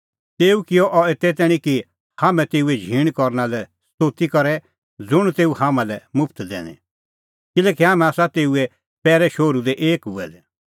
तेऊ किअ अह एते तैणीं कि हाम्हैं तेऊए झींण करना लै स्तोती करे ज़ुंण तेऊ हाम्हां लै मुफ्त दैनी किल्हैकि हाम्हैं आसा तेऊए पैरै शोहरू दी एक हुऐ दै